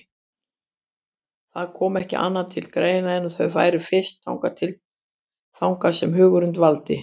Það kom ekki annað til greina en að þau færu fyrst þangað sem hugurinn dvaldi.